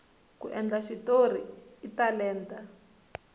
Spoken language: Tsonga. ku endla xitori i talenta